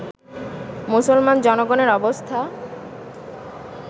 মুসলমান জনগণের অবস্থা